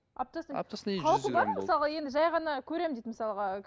аптасына аптасына қауіпі бар ма мысалға енді жай ғана көремін дейді мысалға